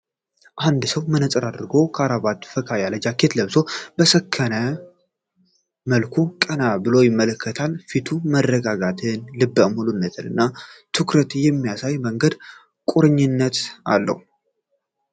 አንድ ሰው መነጽር አድርጎ፣ ክራቫትና ፈካ ያለ ጃኬት ለብሶ በሰከነ መልኩ ቀና ብሎ ይመለከታል። ፊቱ መረጋጋትን፣ ልበ-ሙሉነትን እና ትኩረትን በሚያሳይ መንገድ ቁርጠኝነት አለው።